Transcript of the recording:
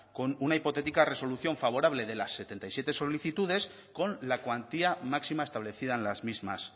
con una hipotética resolución favorable de las setenta y siete solicitudes con la cuantía máxima establecida en las mismas